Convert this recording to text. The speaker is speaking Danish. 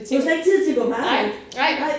Du har slet ikke tid til at gå på arbejde nej